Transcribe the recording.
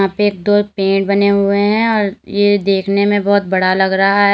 यहां पे एक दो पेड़ बने हुए हैं और ये देखने में बहुत बड़ा लग रहा है।